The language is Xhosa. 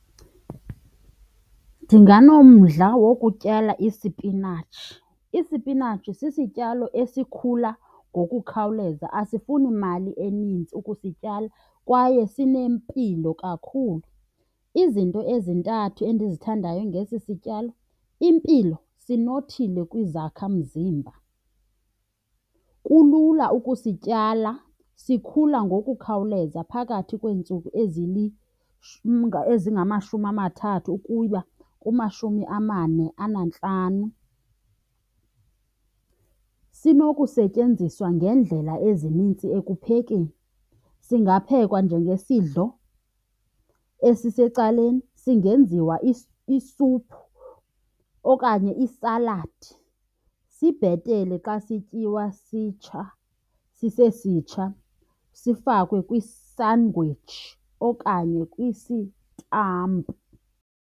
Ndinganomdla wokutyala isipinatshi. Isipinatshi sisityalo esikhula ngokukhawuleza, asifuni mali eninzi ukusityala kwaye sinempilo kakhulu. Izinto ezintathu endizithandayo ngesi sityalo, impilo, sinothile kwizakhamzimba. Kulula ukusityala, sikhula ngokukhawuleza phakathi kweentsuku ezingamashumi amathathu ukuya kumashumi amane anantlanu. Sinokusetyenziswa ngeendlela ezinintsi ekuphekeni, singaphekwa njengesidlo esisecaleni, singenziwa isuphu okanye isaladi. Sibhetele xa sityiwa sisesitsha sifakwe kwisangwetshi okanye kwisitampu.